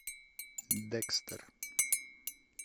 декстер